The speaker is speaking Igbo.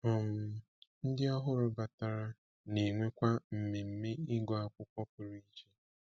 um Ndị ọhụrụ batara na-enwekwa mmemme ịgụ akwụkwọ pụrụ iche